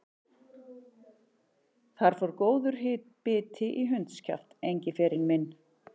Þar fór góður biti í hundskjaft, Engiferinn minn.